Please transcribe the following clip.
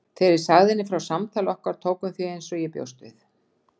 Þegar ég sagði henni frá samtali okkar tók hún því eins og ég bjóst við.